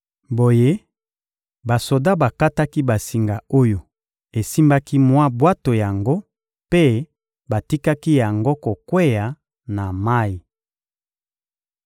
Boye, basoda bakataki basinga oyo esimbaki mwa bwato yango mpe batikaki yango kokweya na mayi.